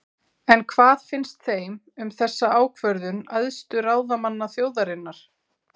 En hvað finnst þeim um þessa ákvörðun æðstu ráðamanna þjóðarinnar?